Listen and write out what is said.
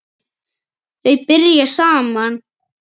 Þau byrja saman.